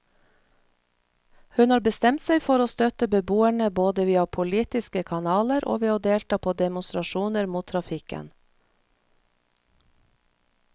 Hun har bestemt seg for å støtte beboerne både via politiske kanaler, og ved å delta på demonstrasjoner mot trafikken.